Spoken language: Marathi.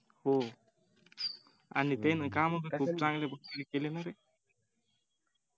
हो आणि त्यांनी काम पण खूप चांगल्या प्रकारे केले नारे